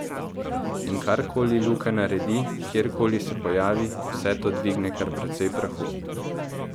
In karkoli Luka naredi, kjerkoli se pojavi, vse to dvigne kar precej prahu.